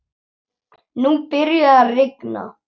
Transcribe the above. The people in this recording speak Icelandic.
Nú byrjaði að rigna.